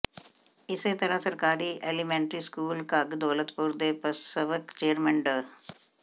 ਇਸੇ ਤਰ੍ਹਾਂ ਸਰਕਾਰੀ ਐਲੀਮੈਂਟਰੀ ਸਕੂਲ ਘੱਗ ਦੌਲਤਪੁਰ ਦੇ ਪਸਵਕ ਚੇਅਰਮੈਨ ਡਾ